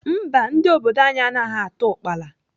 Mba, ndị obodo anyị anaghị ata ukpala.